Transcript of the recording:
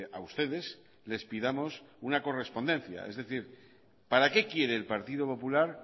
a ustedes les pidamos una correspondencia es decir para qué quiere el partido popular